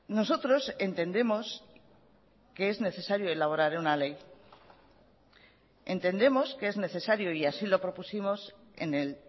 nosotros entendemos que es necesario elaborar una ley entendemos que es necesario y así lo propusimos en el